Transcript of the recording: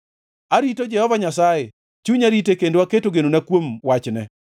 Arito Jehova Nyasaye, chunya rite kendo aketo genona kuom wachne.